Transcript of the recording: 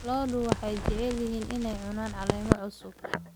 Lo'du waxay jecel yihiin inay cunaan caleemo cusub.